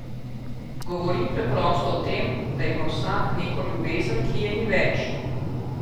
Govori preprosto o tem, da ima vsak neko ljubezen, ki je ni več.